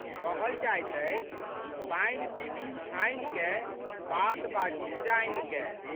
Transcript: कहल जाइत अछि, पानि पीबी छानिकए, बात बाजी जानिकए।